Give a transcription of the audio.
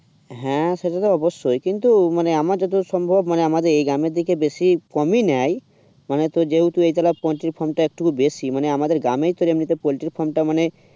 হ্যাঁ সেটা তো অবশ্যই কিন্তু আমার যত সম্ভব মানে আমাদের এই গ্রামের দিকে বেশি কমই নাই তোর যেহেতু এইতলা পোল্ট্রি farm টা একটু বেশি মানে আমাদের গ্রামে ই এমনিতে পোল্টির farm টা মানে